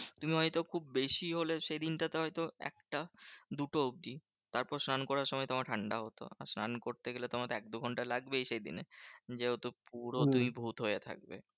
তুমি হয়তো খুব বেশি হলে সেদিনটা তে হয়ত একটা দুটো অব্দি। তারপর স্নান করার সময় তোমার ঠান্ডা হতো। স্নান করতে গেলে তোমার তো এক দু ঘন্টা লাগবেই সেদিন। যেহেতু পুরো তুমি ভুত হয়ে থাকবে।